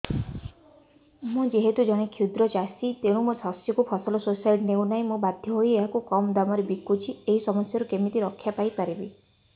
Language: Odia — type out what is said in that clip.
ମୁଁ ଯେହେତୁ ଜଣେ କ୍ଷୁଦ୍ର ଚାଷୀ ତେଣୁ ମୋ ଶସ୍ୟକୁ ଫସଲ ସୋସାଇଟି ନେଉ ନାହିଁ ମୁ ବାଧ୍ୟ ହୋଇ ଏହାକୁ କମ୍ ଦାମ୍ ରେ ବିକୁଛି ଏହି ସମସ୍ୟାରୁ କେମିତି ରକ୍ଷାପାଇ ପାରିବି